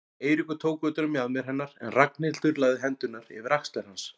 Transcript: Eiríkur tók utan um mjaðmir hennar en Ragnhildur lagði hendurnar yfir axlir hans.